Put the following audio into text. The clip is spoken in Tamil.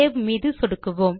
சேவ் பட்டன் மீது சொடுக்குக